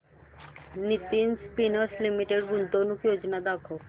Nitin Spinners Limited गुंतवणूक योजना दाखव